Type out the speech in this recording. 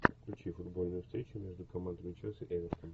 включи футбольную встречу между командами челси эвертон